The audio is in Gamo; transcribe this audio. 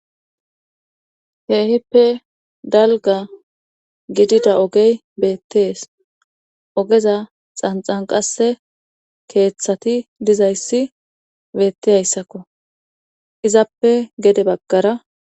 Keehippe dalga gidida ogey beettees ogeza xanxan qasse keeththati dizayssi beettiyayssakko izappe gede baggara.